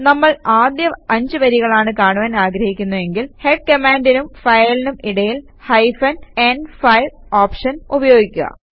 നമ്മൾ ആദ്യ 5 വരികളാണ് കാണുവാൻ ആഗ്രഹിക്കുന്നവെങ്കിൽ ഹെഡ് കമാൻഡിനും ഫയലിനും ഇടയിൽ ഹൈഫൻ ന്5 ഓപ്ഷൻ ഉപയോഗിക്കുക